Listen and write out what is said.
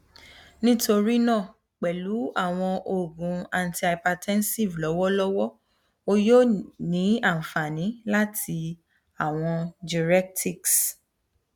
nitorina pẹlu awọn oogun antihypertensive lọwọlọwọ o yoo ni anfani lati awọn diuretics